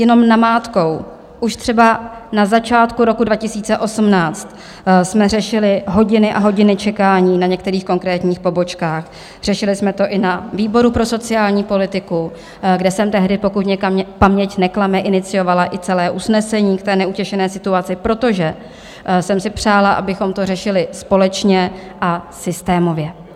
Jenom namátkou, už třeba na začátku roku 2018 jsme řešili hodiny a hodiny čekání na některých konkrétních pobočkách, řešili jsme to i na výboru pro sociální politiku, kde jsem tehdy, pokud mě paměť neklame, iniciovala i celé usnesení k té neutěšené situaci, protože jsem si přála, abychom to řešili společně a systémově.